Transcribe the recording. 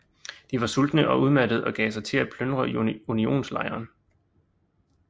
De var sultne og udmattede og gav sig til at plyndre Unionslejren